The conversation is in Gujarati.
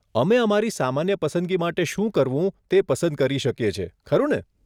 અમે અમારી સામાન્ય પસંદગી માટે શું કરવું તે પસંદ કરી શકીએ છીએ, ખરું ને?